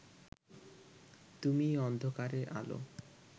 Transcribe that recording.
তুমিই অন্ধকারে আলো